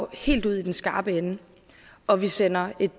helt ud i den skarpe ende og vi sender et